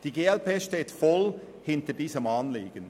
Die glp steht voll hinter diesem Anliegen.